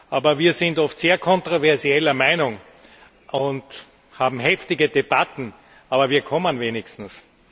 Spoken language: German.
Aber wir sind oft sehr kontroversieller Meinung und haben heftige Debatten, aber wir kommen wenigstens.